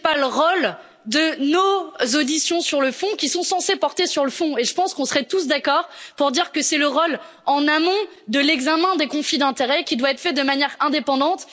Ce n'est pas le rôle de nos auditions sur le fond, qui sont censées porter sur le fond, et je pense que nous serons tous d'accord pour dire que c'est le rôle en amont de l'examen des conflits d'intérêt, qui doit être fait de manière indépendante.